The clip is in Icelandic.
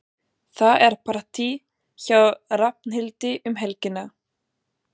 Það er partí hjá Hrafnhildi um helgina.